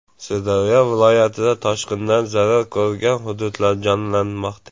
Sirdaryo viloyatida toshqindan zarar ko‘rgan hududlar jonlanmoqda.